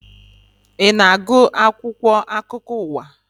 Ị na-agụ akwụkwọ akụkọ ụwa